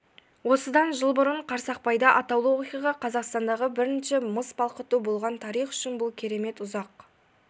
осыдан жыл бұрын қарсақпайда атаулы оқиға қазақстандағы бірінші мыс балқыту болған тарих үшін бұл керемет ұзақ